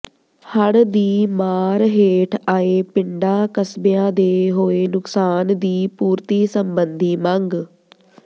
ਹੜ੍ਹ ਦੀ ਮਾਰ ਹੇਠ ਆਏ ਪਿੰਡਾਂ ਕਸਬਿਆਂ ਦੇ ਹੋਏ ਨੁਕਸਾਨ ਦੀ ਪੂਰਤੀ ਸਬੰਧੀ ਮੰਗ